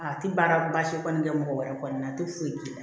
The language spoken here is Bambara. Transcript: A tɛ baara baasi kɔni kɛ mɔgɔ wɛrɛ kɔni a tɛ foyi k'i la